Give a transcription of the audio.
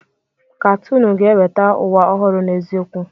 Katoonu ga-eweta ụwa ọhụrụ n'eziokwu.